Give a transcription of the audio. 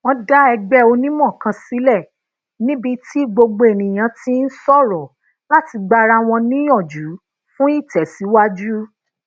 wón dá egbe onimo kan sílè níbi tí gbogbo eniyan ti ń soro lati gba ara won niyanju fun itesiwaju